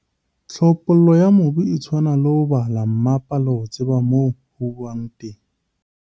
Tlhophollo ya mobu e tshwana le ho bala mmapa le ho tseba moo ho uwang teng.